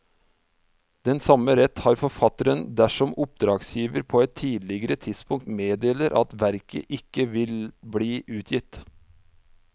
Den samme rett har forfatteren dersom oppdragsgiver på et tidligere tidspunkt meddeler at verket ikke vil bli utgitt.